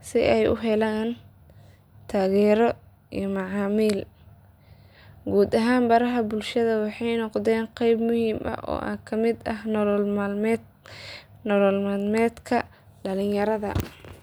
si ay u helaan taageero iyo macaamiil. Guud ahaan baraha bulshada waxay noqdeen qayb muhiim ah oo ka mid ah nolol maalmeedka dhalinyarada.